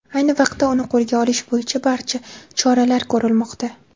Ayni vaqtda uni qo‘lga olish bo‘yicha barcha choralar ko‘rilmoqda.